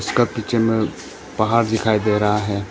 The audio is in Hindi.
का पीछे में पहाड़ दिखाई दे रहा है।